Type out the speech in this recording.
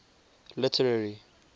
literary